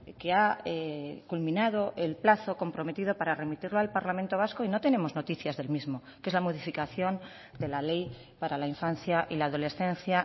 que ha culminado el plazo comprometido para remitirlo al parlamento vasco y no tenemos noticias del mismo que es la modificación de la ley para la infancia y la adolescencia